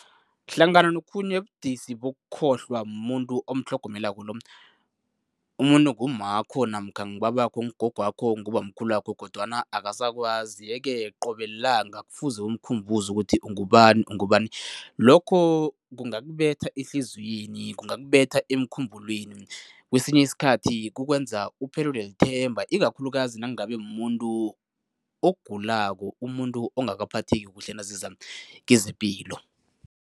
Hlangana nokhunye ubudisi bokukhohlwa mumuntu omtlhogomelako lo, umuntu ngummakho namkha ngubabakho, ngugogwakho, ngubamkhulwakho kodwana akasakwazi yeke qobe lilanga kufukuze umkhumbuze ukuthi ungubani, ungubani. Lokho kungakubetha ehliziyweni, kungakubetha emkhumbulweni. Kwesinye isikhathi, kukwenza uphelelwe lithemba ikakhulukazi nangabe muntu ogulako, umuntu ongakaphatheki kuhle naziza kwezepilo.